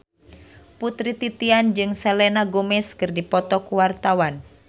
Putri Titian jeung Selena Gomez keur dipoto ku wartawan